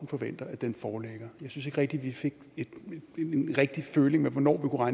forventer at den foreligger jeg synes ikke vi fik en rigtig føling med hvornår